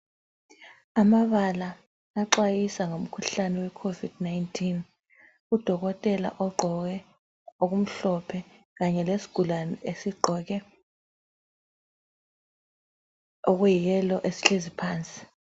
Amabala axwayisa ngomkhuhlane we COVID 19, Udokotela ogqoke okumhlophe kanye lesigulane esigqoke okuyi yellow esihlezi phansi